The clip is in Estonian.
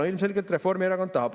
No ilmselgelt Reformierakond tahab.